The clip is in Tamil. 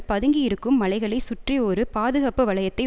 பதுங்கி இருக்கும் மலைகளை சுற்றி ஒரு பாதுகாப்பு வளையத்தை